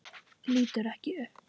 Lítur ekki upp.